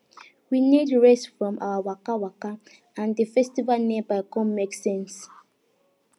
we need rest from our waka waka and di festival nearby come make sense